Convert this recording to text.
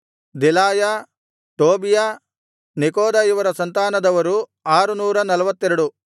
Delaiah Tobiah Nekoda ಇವರ ಸಂತಾನದವರು 642